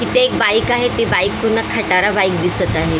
इथं एक बाईक आहे ती बाईक पूर्ण खटारा बाईक दिसत आहे.